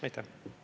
Aitäh!